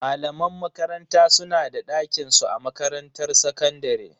Malaman makaranta su na da dakinsu a makarantar sakandare.